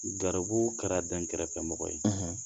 Garibu kɛra dɛn kɛrɛfɛmɔgɔ ye